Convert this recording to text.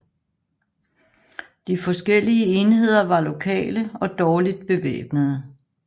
De forskellige enheder var lokale og dårligt bevæbnede